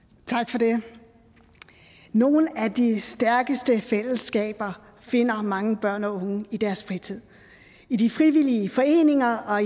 tak for det nogle af de stærkeste fællesskaber finder mange børn og unge i deres fritid i de frivillige foreninger og